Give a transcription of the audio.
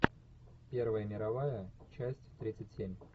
первая мировая часть тридцать семь